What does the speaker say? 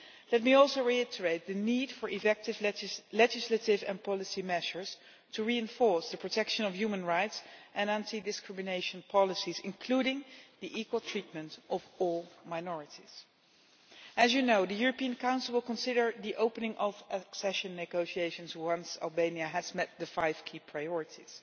Let me also reiterate the need for effective legislative and policy measures to reinforce the protection of human rights and anti discrimination policies, including the equal treatment of all minorities. As you know, the European Council will consider the opening of accession negotiations once Albania has met the five key priorities.